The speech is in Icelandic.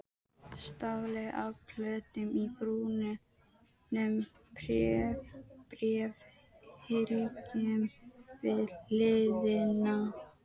Stafli af plötum í brúnum bréfhylkjum við hliðina.